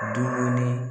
Dumuni